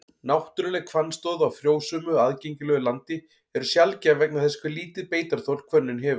Náttúruleg hvannstóð á frjósömu, aðgengilegu landi eru sjaldgæf vegna þess hve lítið beitarþol hvönnin hefur.